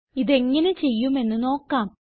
ഇതെങ്ങനെ ചെയ്യുമെന്ന് നോക്കാം